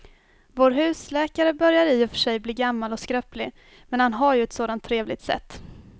Vår husläkare börjar i och för sig bli gammal och skröplig, men han har ju ett sådant trevligt sätt!